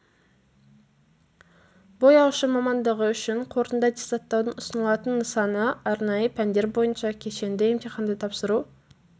бояушы мамандығы үшін қорытынды аттестаттаудың ұсынылатын нысаны арнайы пәндер бойынша кешенді емтиханды тапсыру